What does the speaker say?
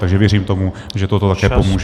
Takže věřím tomu, že toto také pomůže.